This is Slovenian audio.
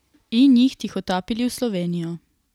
In jih tihotapili v Slovenijo.